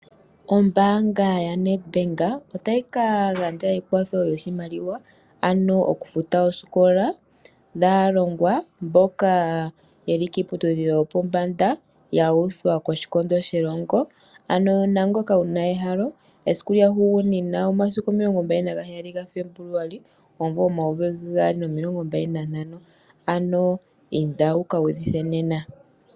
Ombanga yaNedbank otayi ka gandja ekwatho lyoshimaliwa ano oku futa osikola dhaalongwa mboka yeli kiiputudhilo yopombanda ya uthwa koshikondo shelongo. Ano naangoka wuna ehalo esiku lyahugunina omasiku omilongo mbali nagaheyali gaFebuluali omuvo omayovi gaali nomilongo mbali nahamano, Ano inda wuka udhithe nena.